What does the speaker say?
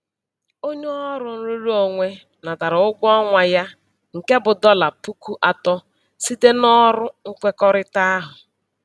Onye ọrụ nrụrụonwe natara ụgwọ ọnwa ya nke bụ dọla puku atọ site n'ọrụ nkwekọrịta ahụ.